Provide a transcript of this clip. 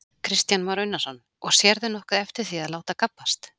Kristján Már Unnarsson: Og sérðu nokkuð eftir því að láta gabbast?